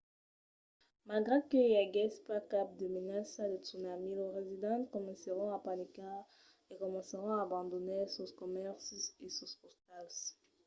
malgrat que i aguèsse pas cap de menaça de tsunami los residents comencèron a panicar e comencèron a abandonar sos comèrcis e sos ostals